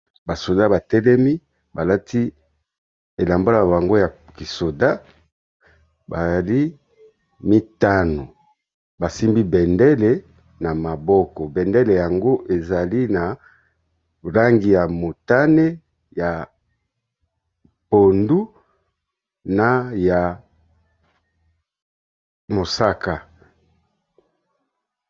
Ba soda ba telemi balati elamba na bango ya kisoda, bazali mitano basimbi bendele na maboko. Bendele yango ezali na langi ya motane, ya pondu, na ya mosaka.